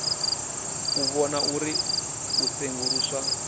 u vhona uri u senguluswa